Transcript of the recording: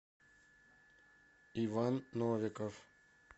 иван новиков